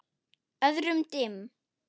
Öðrum dimm.